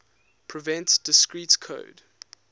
prevent discrete code